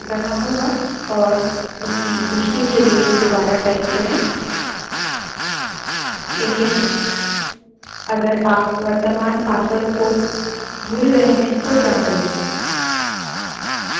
जब वह सही से enter करेंगे तब आपको अपना नया password enter करना होगा और उसकी पुष्टि के लिए दुबारा टाइप करें